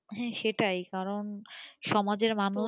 হ্যাঁ সেটাই কারণ সমাজের মানুষ,